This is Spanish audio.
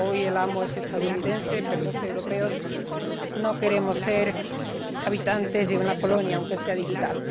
Hoy el amo es estadounidense, pero los europeos no queremos ser habitantes de una colonia, aunque sea digital.